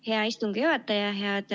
Hea istungi juhataja!